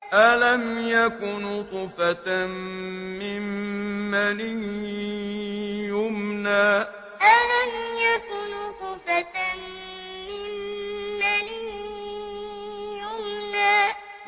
أَلَمْ يَكُ نُطْفَةً مِّن مَّنِيٍّ يُمْنَىٰ أَلَمْ يَكُ نُطْفَةً مِّن مَّنِيٍّ يُمْنَىٰ